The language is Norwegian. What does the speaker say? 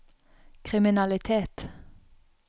kriminalitet